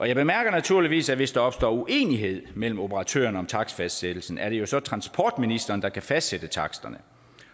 jeg bemærker naturligvis at hvis der opstår uenighed mellem operatørerne om takstfastsættelsen er det jo så transportministeren der kan fastsætte taksterne